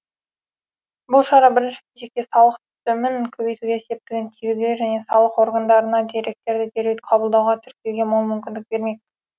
бұл шара бірінші кезекте салық түсімін көбейтуге септігін тигізбек және салық органдарына деректерді дереу қабылдауға тіркеуге мол мүмкіндік бермек